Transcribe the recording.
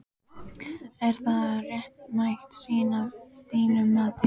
Er það réttmæt sýn að þínu mati?